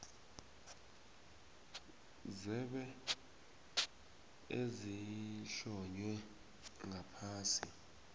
zebee ezihlonywe ngaphasi